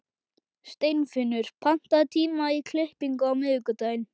Steinfinnur, pantaðu tíma í klippingu á miðvikudaginn.